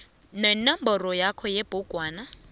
nenomboro yakhe yebhugwana